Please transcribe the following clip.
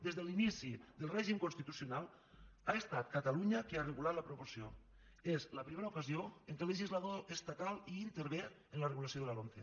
des de l’inici del règim constitucional ha estat catalunya qui ha regulat la proporció és la primera ocasió en què el legislador estatal hi intervé amb la regulació de la lomce